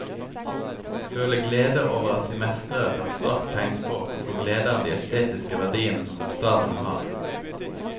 Føle glede over at de mestrer et abstrakt tegnspråk og få glede av de estetiske verdiene som bokstavene har.